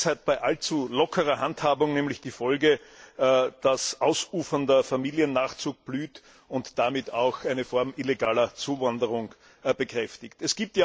Dies hat bei allzu lockerer Handhabung nämlich die Folge, dass ausufernder Familiennachzug blüht und damit auch eine Form illegaler Zuwanderung bekräftigt wird.